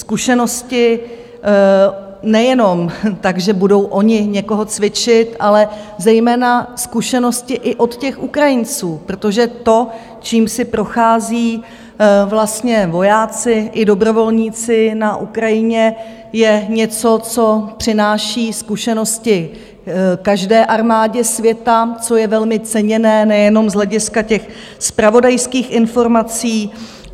Zkušenosti nejenom tak, že budou oni někoho cvičit, ale zejména zkušenosti i od těch Ukrajinců, protože to, čím si procházejí vlastně vojáci i dobrovolníci na Ukrajině, je něco, co přináší zkušenosti každé armádě světa, což je velmi ceněné nejenom z hlediska těch zpravodajských informací.